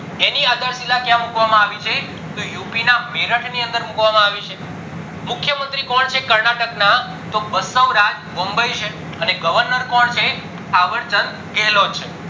એની અઠર્તીલા ક્યાં મુકવામ આવી છે તો યુપી ના મેરટ ની અંદર મુકવામાં આવી છે મુખ્ય મંત્રી કોણ છે કર્નાટક ના તો બસોક રાજ બોમ્બે છે અને governor કોણ છે અવદ ચંદ ગેલો છે